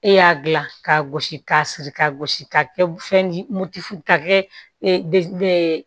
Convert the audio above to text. E y'a gilan ka gosi ka siri ka gosi ka kɛ fɛn mugu ka kɛ e de ye